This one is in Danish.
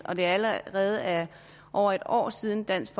og det allerede er over et år siden dansk